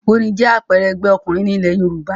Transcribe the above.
Ògbóni jẹ́ àpẹẹrẹ ẹgbẹ́ òkùnkùn ní ilẹ̀ Yorùbá